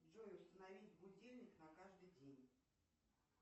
джой установить будильник на каждый день